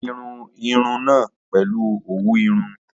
Ó dirun irun náà pèlu òwú irun